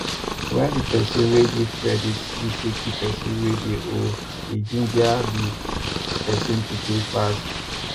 when di person wey give credit visit di person wey dey owe e ginger di person to pay fast